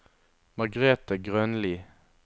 Margrete Grønli